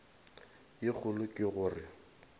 ye kgolo ke go re